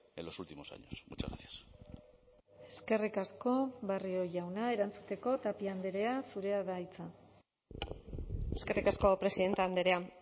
en los últimos años muchas gracias eskerrik asko barrio jauna erantzuteko tapia andrea zurea da hitza eskerrik asko presidente andrea